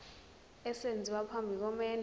esenziwa phambi komendo